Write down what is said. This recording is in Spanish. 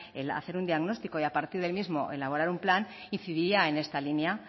hacer un diagnóstico y a partir del mismo elaborar un plan incidiría en esta línea